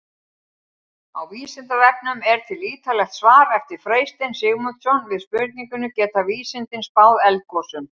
Á Vísindavefnum er til ýtarlegt svar eftir Freystein Sigmundsson við spurningunni Geta vísindin spáð eldgosum?